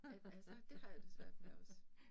Ja altså det har jeg det svært med også